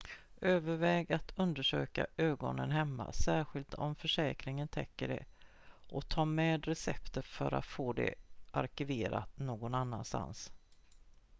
överväg att undersöka ögonen hemma särskilt om försäkringen täcker det och ta med receptet för att få det arkiverat någon annanstans